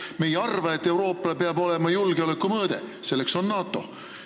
Me ei arva, et Euroopa Liit peab olema julgeoleku tagatis, selleks on NATO.